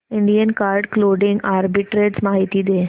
Indian card clothing arbitrage माहिती दे